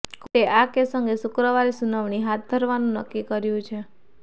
કોર્ટે આ કેસ અંગે શુક્રવારે સુનાવણી હાથ ધરવાનું નક્કી કર્યું છે